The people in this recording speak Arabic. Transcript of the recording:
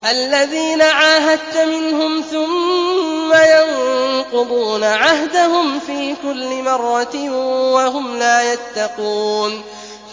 الَّذِينَ عَاهَدتَّ مِنْهُمْ ثُمَّ يَنقُضُونَ عَهْدَهُمْ فِي كُلِّ مَرَّةٍ وَهُمْ لَا يَتَّقُونَ